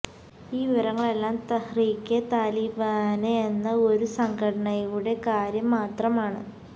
ഈ വിവരങ്ങളെല്ലാം തഹ്രീകെ താലിബാന് എന്ന ഒരു സംഘടനയുടെ കാര്യം മാത്രമാണ്